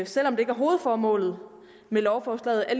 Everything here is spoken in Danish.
selv om det ikke er hovedformålet med lovforslaget